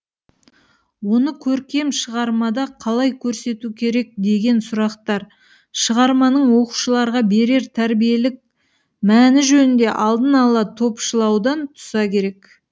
оны көркем шығармада қалай көрсету керек деген сұрақтар шығарманың оқушыларға берер тәрбиелік мәні жөнінде алдын ала топшылаудан туса керек